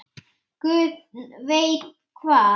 Guð veit hvað!